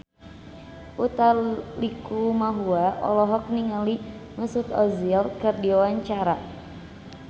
Utha Likumahua olohok ningali Mesut Ozil keur diwawancara